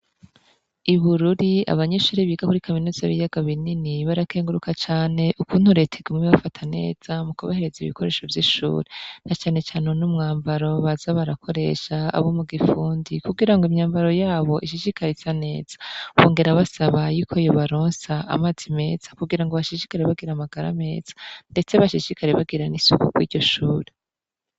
Ibururi abanyeshuri biga kuri kaminuzi b'iyaga binini barakenguruka cane ukunturetigume bafataneza mu kubahereza ibikoresho vy'ishure na canecane wu n'umwambaro baza barakoresha abo mu gifundi kugira ngo imyambaro yabo ishishikaritsa neza bongera basaba yuko yobaronsa amazi meza kugira ngo bashisikara bagira amagara ameza, ndetse bashishikare bagira n'isukuko iryo shura.